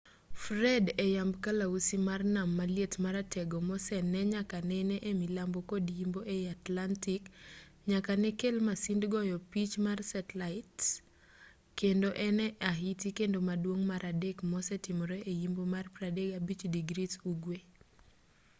fred e yamb kalausi mar nam maliet maratego mosenee nyaka nene e milambo kod yimbo ei atlantic nyaka ne kel masind goyo picha mar setlait kendo en e ahiti kende maduong' mar adek mosetimore e yimbo mar 35° ugwe